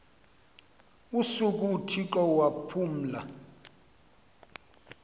usuku uthixo waphumla